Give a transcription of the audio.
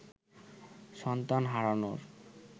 সন্তান হারানোর